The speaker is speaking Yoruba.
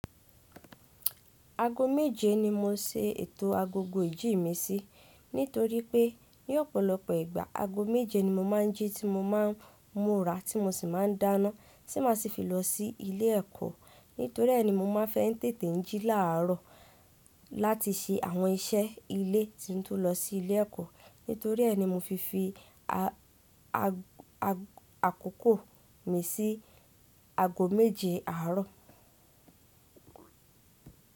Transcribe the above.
Aago méje ni mo ń se ètò agogo ìjí mi sí, nítorí pé ní ọ̀pọ̀lọpọ̀ ìgbà, aago méje ni mo máa ń jí ti mo ma ń múra tí mo sì máa ń dáná tí máa si fi lọ sí ilé ẹ̀kọ́. Nítorí ẹ́ ni mo máa ń fẹ́ tètè jí láàárọ̀ láti ṣe àwọn iṣẹ́ ilé tí n tó lọ sí ilé ẹ̀kọ́. Nítorí ẹ́ ni mo fi fi àkókò mi sí aago méje àárọ̀.